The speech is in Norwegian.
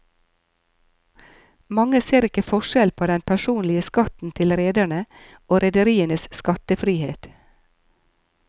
Mange ser ikke forskjell på den personlige skatten til rederne og rederienes skattefrihet.